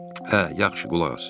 Hə, yaxşı, qulaq as.